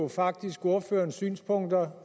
faktisk ordførerens synspunkter